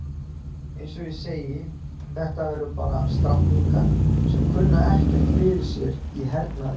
Eins og ég segi, þetta eru bara stráklingar sem kunna ekkert fyrir sér í hernaði.